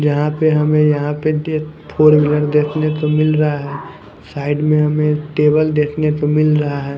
जहाँ पे हमें यहाँ पे फोर व्हीलर देखने को मिल रहा है साइड में हमें टेबल देखने को मिल रहा है।